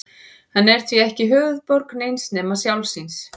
Hann er því ekki höfuðborg neins nema sjálfs sín.